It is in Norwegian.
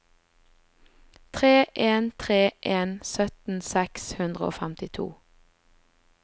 tre en tre en sytten seks hundre og femtito